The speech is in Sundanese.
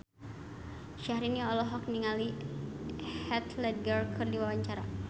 Syahrini olohok ningali Heath Ledger keur diwawancara